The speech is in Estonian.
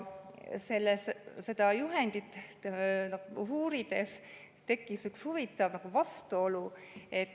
Seda juhendit uurides ühte huvitavat vastuolu.